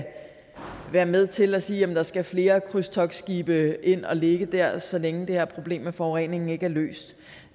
være med til at sige at der skal flere krydstogtskibe ind at ligge der så længe det her problem med forureningen ikke er løst